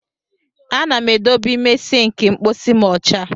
A na m edobe ime sịnkị mkpọsi m ọcha.